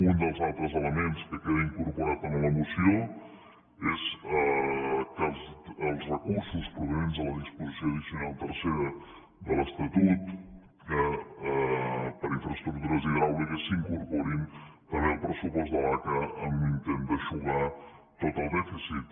un dels altres elements que queda incorporat en la moció és que els recursos provinents de la disposició addicional tercera de l’estatut per a infraestructures hidràuliques s’incorporin també al pressupost de l’aca en un intent d’eixugar tot el dèficit